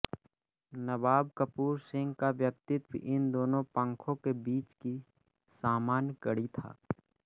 नवाब कपूर सिंह का व्यक्तित्व इन दोनों पंखों के बीच की सामान्य कड़ी था